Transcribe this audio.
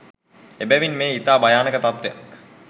එබැවින් මෙය ඉතා භයානක තත්ත්වයක්